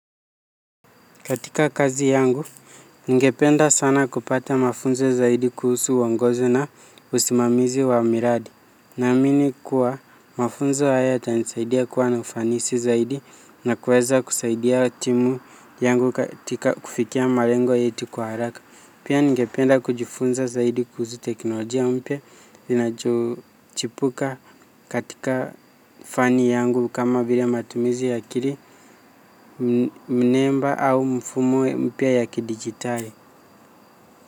Katika kazi yangu, ningependa sana kupata mafunzo zaidi kuhusu uongozi na usimamizi wa miradi. Naamini kuwa, mafunzo haya yatanisaidia kuwa na ufanisi zaidi na kuweza kusaidia timu yangu katika kufikia malengo yetu kwa haraka. Pia ningependa kujifunza zaidi kuhusu teknolojia mpya inacho chipuka katika fani yangu kama vile matumizi ya kiri mnemba au mfumo mpya ya kidigitali.